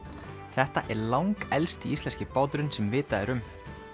þetta er langelsti íslenski báturinn sem vitað er um